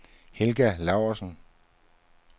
Helga Laursen